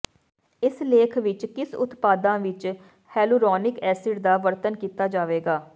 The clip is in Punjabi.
ਇਸ ਲੇਖ ਵਿੱਚ ਕਿਸ ਉਤਪਾਦਾਂ ਵਿੱਚ ਹੈਲੁਰੌਨਿਕ ਐਸਿਡ ਦਾ ਵਰਣਨ ਕੀਤਾ ਜਾਵੇਗਾ